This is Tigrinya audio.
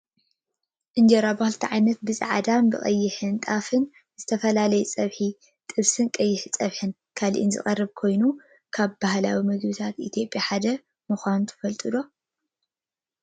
እንጀራ ብክልተ ዓይነት ብፃዕዳን ቀይሕን ጣፍን ብዝተፈላለዩ ፀብሕ ጥብስን ቀይሕ ፀብሕን ካልእን ዝቀረበ ኮይኑ፣ ካብ ባህላዊ ምግብታት ኢትዮጵያ ሓደ ምኳኑ ትፈልጡ ዶ ?